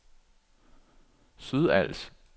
Sydals